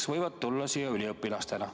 Nad võivad tulla siia üliõpilastena.